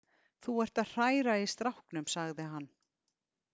Þú ert að hræra í stráknum, sagði hann.